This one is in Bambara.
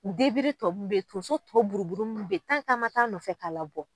O tɔ mun bɛ ye, tonso tɔ buruburu mun bɛ an ma taa nɔfɛ k'a labɔ.